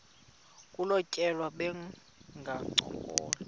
kolu tyelelo bangancokola